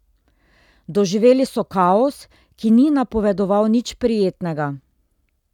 Doživeli so kaos, ki ni napovedoval nič prijetnega.